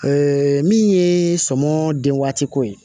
min ye sɔmi waati ko ye